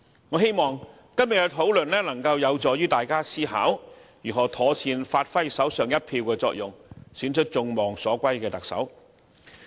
我希望今天的討論有助於大家思考如何妥善發揮手上一票的作用，選出眾望所歸的特首。